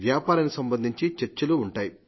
వ్యాపారానికి సంబంధించి చర్చలు ఉంటాయి